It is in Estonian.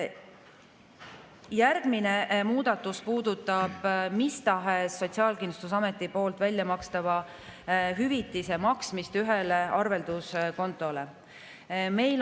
Järgmine muudatus puudutab mis tahes Sotsiaalkindlustusameti poolt väljamakstava hüvitise maksmist ühele arvelduskontole.